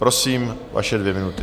Prosím, vaše dvě minuty.